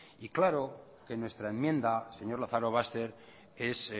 y claro que en nuestra enmienda señor lazarobaster es